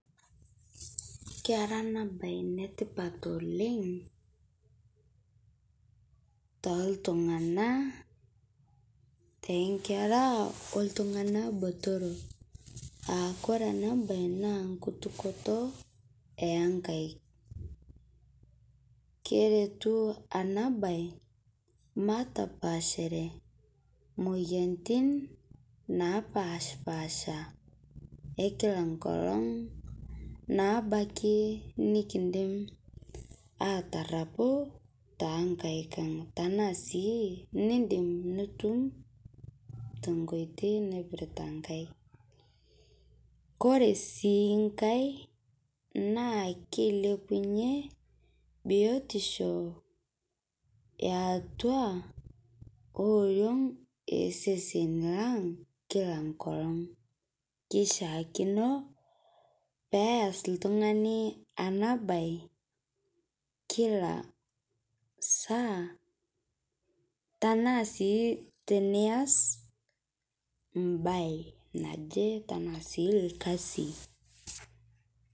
Kera ana bai netipat oleng' toltung'ana tenkera oltung'ana botoro aakore ana bai naa nkutukoto enkaik keretu ana bai matapashare moyantin napashpaasha ekila nkolong' nabaki nikindim atarapu tenkaik ang' tanaa sii nindim nitum tenkoitei naipirta nkaik kore sii ng'ai naa keilepunye biotisho eatua ooriong' esesen lang' kila nkolong' keishiakino peas ltung'ani ana bai kila saa tanaa sii tinias mbai najii tanaa sii lkazi.